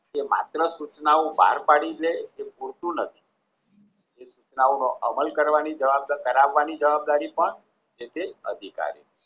કે માત્ર સૂચનાઓ પાર પાડી લેય એ પૂરતું નથી સૂચનાઓ નો અમલ કરવાની જવાબદારી પણ જે તે અધિકારીની